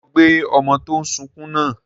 Ṣé ó gbé ọmọ tó n sunkún náà?